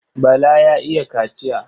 Bala ya iya kaciya.